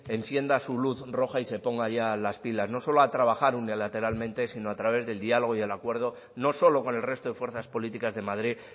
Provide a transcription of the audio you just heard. encienda su luz roja y se ponga ya las pilas no solo a trabajar unilateralmente sino a través del diálogo y del acuerdo no solo con el resto de fuerzas políticas de madrid